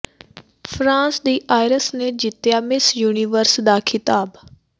France ਦੀ Iris ਨੇ ਜਿੱਤਿਆ ਮਿਸ ਯੂਨੀਵਰਸ ਦਾ ਖਿਤਾਬ